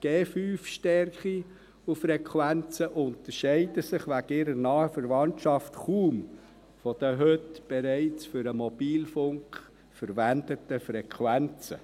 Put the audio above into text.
Die 5G-Stärken und -Frequenzen unterscheiden sich wegen ihrer nahen Verwandtschaft kaum von den heute bereits für den Mobilfunk verwendeten Frequenzen.